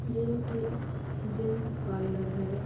ये एक gents parlour हैं।